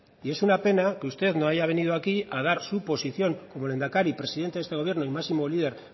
y es una pena que usted no haya venido aquí a dar su posición como lehendakari presidente de este gobierno y máximo líder